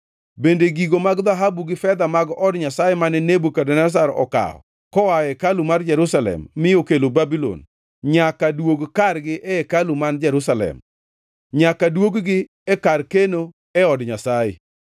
Bende, gigo mag dhahabu gi fedha mag od Nyasaye, mane Nebukadneza okawo koa e hekalu mar Jerusalem mi okelo Babulon, nyaka duog kargi e hekalu man Jerusalem; nyaka duog-gi e kar keno e od Nyasaye.